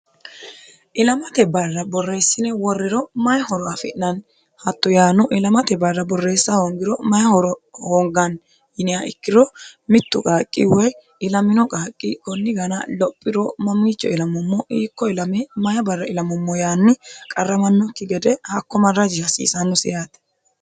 ilamate barra borreessine woriro mayi horo afi'nanni hatto yaano ilamate barra borreessa hoongiro mayi horo hoonganni yiniha ikkiro mittu qaaqqi woy ilamino qaaqqi konni gana lophiro mamiicho ilamummo hiikko ilame mayi barra ilamommo yaanni qarramannokki gede hakko marraji hasiisannosi yaate